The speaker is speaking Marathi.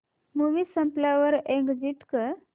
मूवी संपल्यावर एग्झिट कर